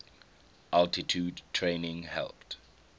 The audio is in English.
altitude training helped